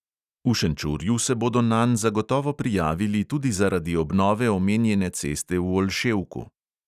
V šenčurju se bodo nanj zagotovo prijavili tudi zaradi obnove omenjene ceste v olševku.